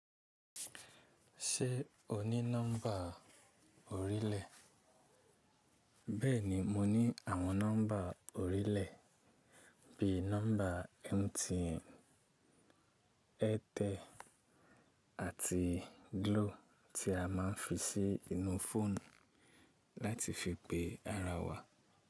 Ṣé o ní nọ́mbà orílẹ̀? Bẹ́ẹ̀ni mo ní àwọn nọ́mbà orílẹ̀ bí i nọ́mbà MTN, Airtel àti Glo tí a máa ń fi sí inú fóònù láti fi pe ara wa.